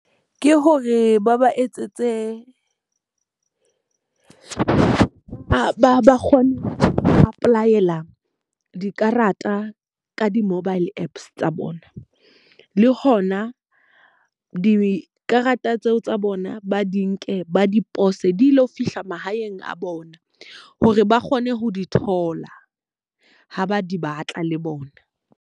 Ke hore ba ba etsetse ba kgone ho apply-ela dikarata ka di-mobile Apps tsa bona. Le hona dikarata tseo tsa bona ba di nke ba dipose di lo fihla mahaeng a bona hore ba kgone ho di thola ha ba di batla le bona.